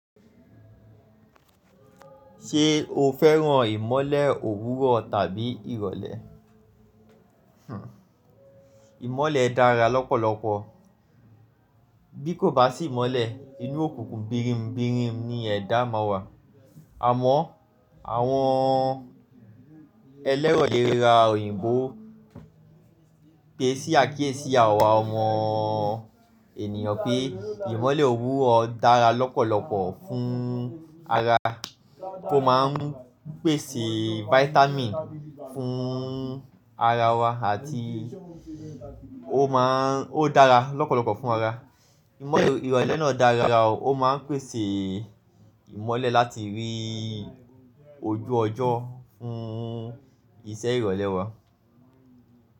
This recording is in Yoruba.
Ṣé o fẹ́ràn ìmọ́lẹ̀ òwúrọ̀ tàbí ìrọ̀lẹ́? Hhm ìmọ́lẹ̀ dára lọ́pọ̀lọpọ̀. Bí kò bá sí ìmọ́lẹ̀, inú òkùnkùn birinbirin ni ẹ̀dá ọmọ wa. Àmọ́ àwọn ẹlẹ́rọ ilera òyìnbó pèsí àkíyèsí awà ọmọ ènìyàn pé ìmọ́lẹ̀ òwúrọ̀ dára lọ́pọ̀lọpọ̀ fún ara. Ó máa ń pèsè vitamin fún ara wa àti ó má ń, ó dára lọ́pọ̀lọpọ̀ fún ara. Imọlẹ irọlẹ naa dara o, o máa n pèsè ìmọ́lẹ̀ láti rí ojú ọjọ́ fún iṣẹ́ ìrọ̀lẹ́ wa.